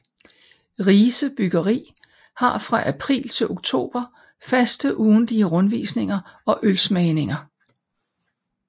Rise Bryggeri har fra april til oktober faste ugentlige rundvisninger og ølsmagninger